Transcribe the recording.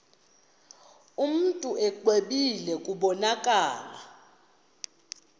mntu exwebile kubonakala